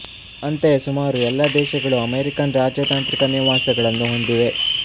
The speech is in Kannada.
ಅಂತೆಯೇ ಸುಮಾರು ಎಲ್ಲ ದೇಶಗಳೂ ಅಮೆರಿಕನ್ ರಾಜತಾಂತ್ರಿಕ ನಿವಾಸಗಳನ್ನು ಹೊಂದಿವೆ